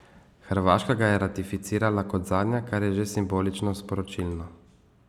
Hrvaška ga je ratificirala kot zadnja, kar je že simbolično sporočilno.